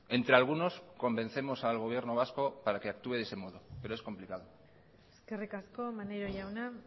entre algunos convencemos al gobierno vasco para que actúe de ese modo pero es complicado eskerrik asko maneiro jauna